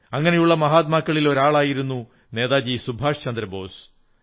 അങ്ങനെയുള്ള മഹാത്മാക്കളിൽ ഒരാളായിരുന്നു നേതാജി സുഭാഷ് ചന്ദ്ര ബോസ്